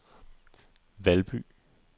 Valby